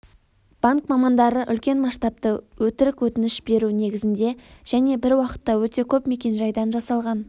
банк мамандары үлкен масштабты өтірік өтініш беру негізінде және бір уақытта өте көп мекенжайдан жасалған